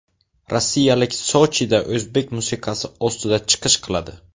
Rossiyaliklar Sochida o‘zbek musiqasi ostida chiqish qiladi.